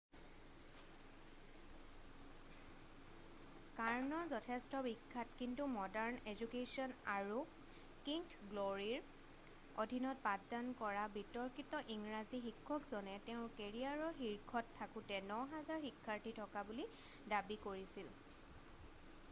Kern' যথেষ্ট বিখ্যাত কিন্তু মডাৰ্ণ এজুকেশ্বন আৰু কিংথ গ্ল'ৰীৰ অধীনত পাঠদান কৰা বিতৰ্কিত ইংৰাজী শিক্ষকজনে তেওঁৰ কেৰিয়াৰৰ শীৰ্ষত থাকোঁতে 9000 শিক্ষাৰ্থী থকা বুলি দাবী কৰিছিল